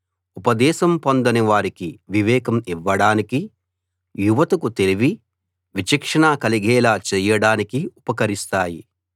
ఉపదేశం పొందని వారికి వివేకం ఇవ్వడానికి యువతకు తెలివి విచక్షణ కలిగేలా చేయడానికి ఉపకరిస్తాయి